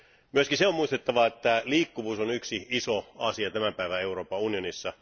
Myöskin se on muistettava, että liikkuvuus on yksi iso asia tämän päivän Euroopan unionissa.